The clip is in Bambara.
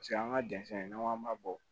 Paseke an ka jɛnsɛn n'an k'an ma bɔ